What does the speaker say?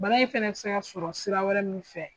Bana in fɛnɛ bi se ka sɔrɔ sira wɛrɛ min fɛ